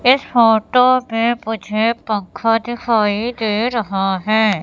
इस फोटो में मुझे पंखा दिखाई दे रहा है।